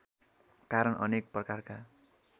कारण अनेक प्रकारका